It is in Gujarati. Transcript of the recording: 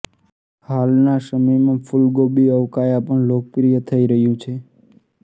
હાલના સમયમાં ફૂલગોબી અવકાયા પણ લોકપ્રિય થઇ રહ્યું છે